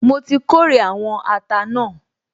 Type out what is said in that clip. Mo ti kórè àwọn ata náà